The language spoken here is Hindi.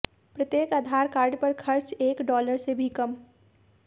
प्रत्येक आधार कार्ड पर खर्च एक डॉलर से भी कम